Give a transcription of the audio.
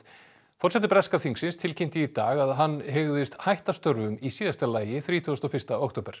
forseti breska þingsins tilkynnti í dag að hann hygðist hætta störfum í síðasta lagi þrítugasta og fyrsta október